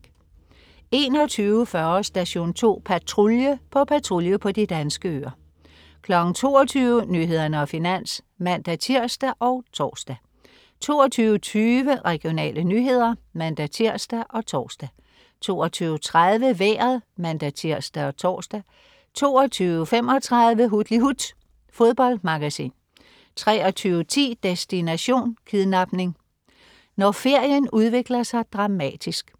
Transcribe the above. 21.40 Station 2 Patrulje. På patrulje på de danske øer 22.00 Nyhederne og Finans (man-tirs og tors) 22.20 Regionale nyheder (man-tirs og tors) 22.30 Vejret (man-tirs og tors) 22.35 Hutlihut. Fodboldmagasin 23.10 Destination: Kidnapning. Når ferien udvikler sig dramatisk